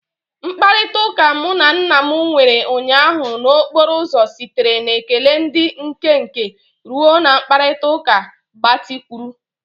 Mkparịta ụka mụ na Nma nwere ụnyaahụ n'okporo ụzọ sitere na ekele dị nkenke ruo na mkparịta ụka gbatịkwuru.